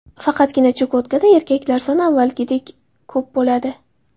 Faqatgina Chukotkada erkaklar soni avvalgidek ko‘p bo‘ladi.